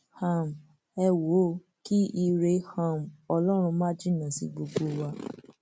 um ẹ wò ó kí ire um ọlọrun má jìnnà sí gbogbo wa